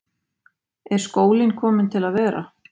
Er skólinn kominn til að vera?